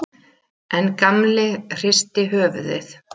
En Gamli hristi höfuðið.